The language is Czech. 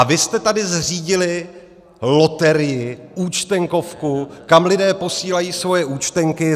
A vy jste tady zřídili loterii, Účtenkovku, kam lidé posílají svoje účtenky.